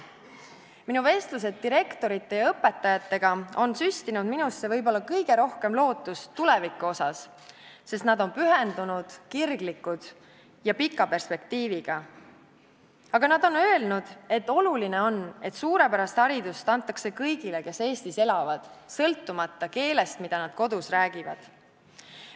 Minu vestlused direktorite ja õpetajatega on süstinud minusse võib-olla kõige rohkem lootust tuleviku osas, sest nad on pühendunud, kirglikud ja näevad pikka perspektiivi, aga nad on öelnud, et oluline on, et suurepärast haridust antakse kõigile, kes Eestis elavad, sõltumata keelest, mida nad kodus räägivad.